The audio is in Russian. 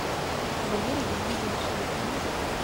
валерий геннадьевич лыткин